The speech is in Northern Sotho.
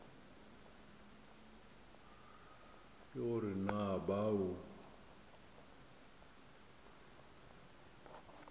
ke go re na bao